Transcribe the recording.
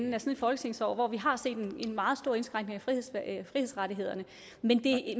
folketingsår hvor vi har set en meget stor indskrænkning af frihedsrettighederne